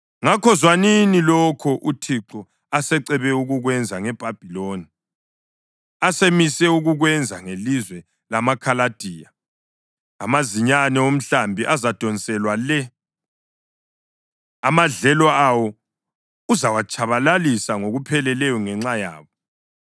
Ngakho, zwanini lokho uThixo asecebe ukukwenza ngeBhabhiloni, asemise ukukwenza ngelizwe lamaKhaladiya: Amazinyane omhlambi azadonselwa le, amadlelo awo uzawatshabalalisa ngokupheleleyo ngenxa yabo.